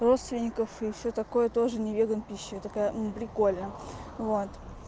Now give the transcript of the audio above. родственников и всё такое тоже не веган пища я такая прикольно вот